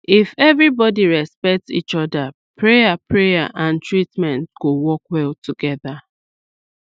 if everybody respect each other prayer prayer and treatment go work well together